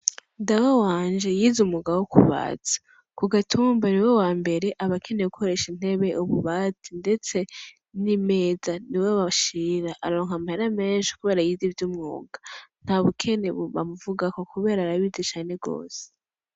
Dawe wanje yize umwuga wo kubaza. Kugatumba niwe wambere abakeneye gukoresha intebe, ububati, ndetse n'imeza niwe bashira, arararonka amahera menshi kubera yize ivy'umwuga. Ntabukene bamuvugako kubera arabizi cane gose.